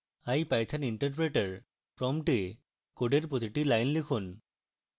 ipython interpreter prompt এ code প্রতিটি line লিখুন